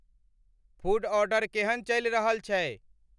food order केहन चलि रहल छै